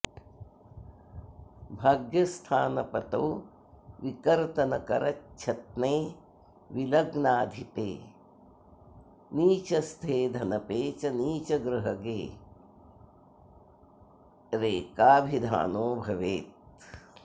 भाग्यस्थानपतौ विकर्तनकरच्छत्ने विलग्नाधिपे नीचस्थे धनपे च नीचगृहगे रेकाभिधानो भवेत्